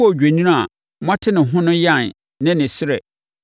odwennini a moate ne ho no yan ne ne srɛ